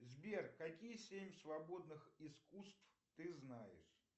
сбер какие семь свободных искусств ты знаешь